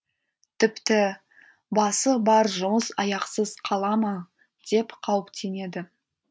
тіпті басы бар жұмыс аяқсыз қала ма деп қауіптенеді